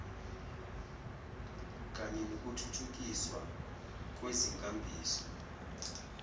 kanye nokuthuthukiswa kwezinkambiso